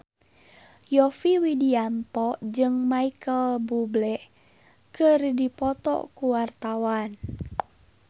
Yovie Widianto jeung Micheal Bubble keur dipoto ku wartawan